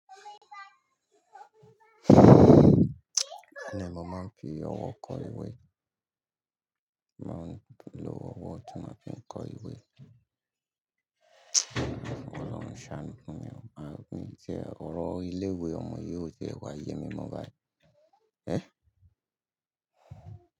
Bẹ́ẹ̀ni mo máa ń fi ọwọ́ kọ ìwé? Mo máa ń lo ọwọ́ tí mo fi ń kọ ìwé. K'ọlọ́run ṣàánú fun mi. Ọ̀rọ̀ ilé ìwé ọmọ yi ò tí ẹ wà yemi mọ́ bayìí.